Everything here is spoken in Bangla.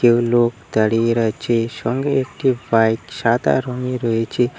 কেউ লোক দাঁড়িয়ে রয়েছে সঙ্গে একটি বাইক সাদা রঙে রয়েছে।